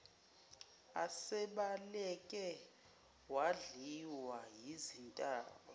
esebaleke wadliwa yizintaba